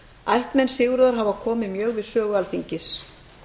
ættmenn sigurðar hafa komið mjög við sögu alþingis